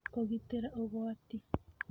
Kũgitĩra Ũgwati: